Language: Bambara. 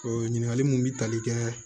ɲininkali mun bi tali kɛ